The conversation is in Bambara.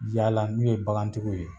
Yala n'u ye bagantigiw ye